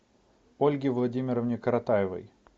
ольге владимировне коротаевой